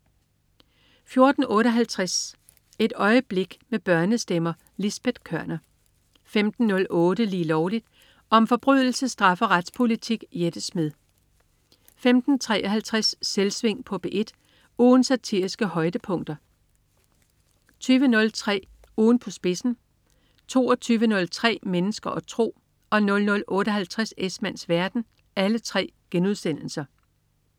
14.58 Et øjeblik med børnestemmer. Lisbet Koerner 15.08 Lige Lovligt. Om forbrydelse, straf og retspolitik. Jette Smed 15.53 Selvsving på P1. Ugens satiriske højdepunkter 20.03 Ugen på spidsen* 22.03 Mennesker og tro* 00.58 Esmanns verden*